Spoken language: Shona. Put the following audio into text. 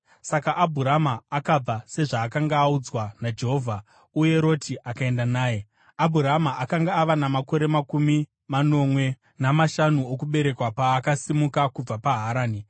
Saka Abhurama akabva, sezvaakanga audzwa naJehovha; uye Roti akaenda naye. Abhurama akanga ava namakore makumi manomwe namashanu okuberekwa paakasimuka kubva paHarani.